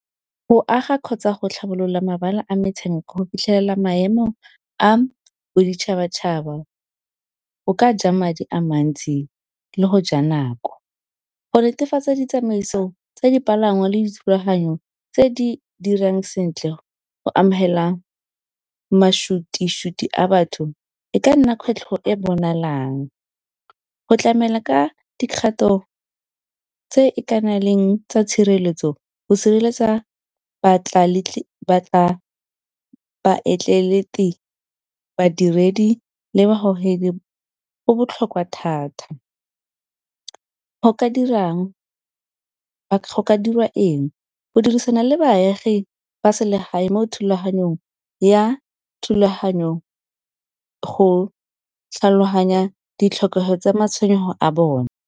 Go aga kgotsa go tlhabolola mabala a metshameko. Go fitlhelela maemo a boditšhabatšhaba go ka ja madi a mantsi le go ja nako. Go netefatsa ditsamaiso tsa dipalangwa le dithulaganyo tse di dirang sentle go amogela matšhwititšhwiti a batho e ka nna kgwetlho e bonalang. Go tlamela ka dikgato tse e ka na leng tsa tshireletso go sireletsa , badiredi le babogedi go botlhokwa thata. Go ka dirang dirwa eng, go dirisana le baagi ba selegae mo thulaganyong ya tlhaloganya ditlhokego tsa matshwenyego a bone.